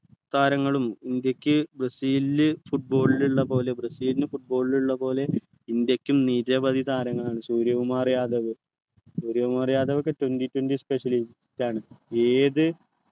താരങ്ങളും ഇന്ത്യക്ക് ബ്രസീലിനു football ളിൽ ഉള്ള പോലെ ബ്രസീലിനു football ളിൽ ഉള്ള പോലെ ഇന്ത്യക്കും നിരവധി താരങ്ങളാണ് സൂര്യകുമാർ യാദവ് സൂര്യകുമാർ യാദവ്ഒക്കെ twenty twenty specially യാണ് ഏത്